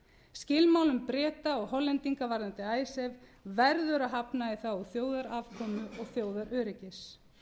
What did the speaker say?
skilmálum breta og hollendinga varðandi icesave verður að hafna í þágu þjóðarafkomu og þjóðaröryggis